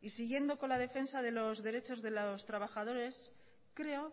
y siguiendo con la defensa de los derechos de los trabajadores creo